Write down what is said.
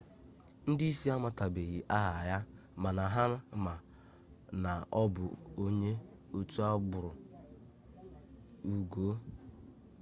ndị isi amatabeghi aha ya mana ha ma na ọ bụ onye otu agbụrụ uigọọ